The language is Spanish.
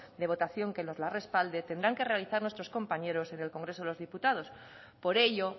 de votación que nos la respalde tendrán que realizar nuestros compañeros en el congreso de los diputados por ello